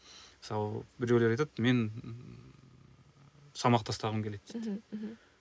мысалы біреулер айтады мен салмақ тастағым келеді дейді мхм мхм